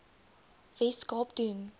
wes kaap doen